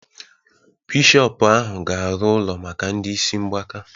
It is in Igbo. Bishọpu ahụ ga-arụ ụlọ maka ndị isi mgbaka